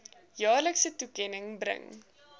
jaarlikse toekenning bring